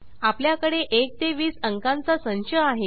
आपल्याकडे 1 ते 20 अंकांचा संच आहे